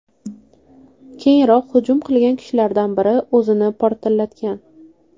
Keyinroq hujum qilgan kishilardan biri o‘zini portlatgan.